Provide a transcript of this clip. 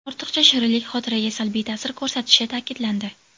Ortiqcha shirinlik xotiraga salbiy ta’sir ko‘rsatishi ta’kidlandi.